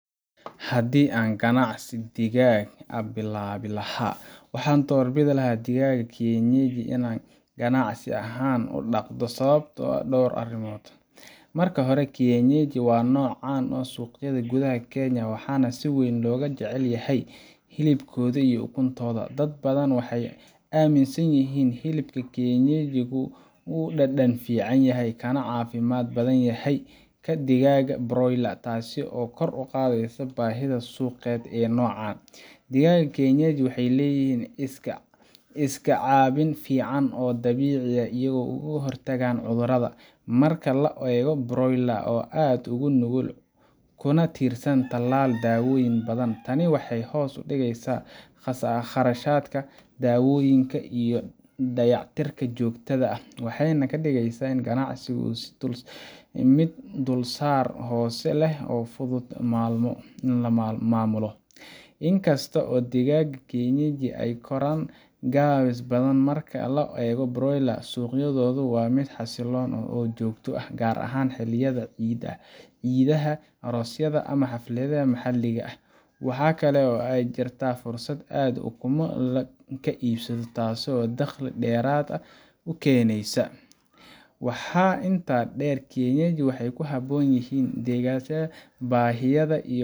Haddii aan ganacsi digaag ah bilaabi lahaa, waxaan doorbidi lahaa digaagga kienyeji in aan ganacsi ahaan u dhaqdo, sababo dhowr ah dartood: Marka hore, kienyeji waa nooc caan ka ah suuqyada gudaha Kenya, waxaana si weyn loo jecel yahay hilibkooda iyo ukuntooda. Dad badan waxay aaminsan yihiin in hilibka kienyeji uu ka dhadhan fiican yahay kana caafimaad badan yahay kan digaagga broiler-ka, taasoo kor u qaadaysa baahida suuqeed ee noocan. Digaagga kienyeji waxay leeyihiin iska caabin fiican oo dabiici ah oo ay uga hortagaan cudurrada, marka loo eego broiler-ka oo aad u nugul, kuna tiirsan talaal iyo daawooyin badan. Tani waxay hoos u dhigeysaa kharashaadka daawooyinka iyo dayactirka joogtada ah, waxayna ka dhigeysaa ganacsiga mid dulsaar hoose leh oo fudud in la maamulo. In kasta oo digaagga kienyeji ay ka koraan gaabis badan marka loo eego broiler-ka, suuqoodu waa mid xasilloon oo joogto ah, gaar ahaan xilliyada ciidaha, aroosyada, ama xafladaha maxalliga ah. Waxaa kale oo jirta fursad aad ukumo ka iibiso — taasoo dakhli dheeraad ah kuu keenaysa. Waxaa intaa dheer, kienyeji waxay ku habboon yihiin deegaanada baadiyaha iyo